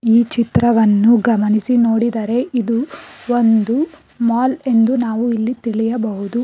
ಈ ಚಿತ್ರವನ್ನು ಗಮನಿಸಿ ನೋಡಿದರೆ ಇದು ಒಂದು ಮಾಲ್ ಎಂದು ನಾವು ಇಲ್ಲಿ ತಿಳಿಯಬಹುದು.